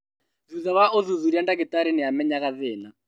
Thutha wa ũthuthuria, ndagĩtarĩ nĩamenyaga thĩna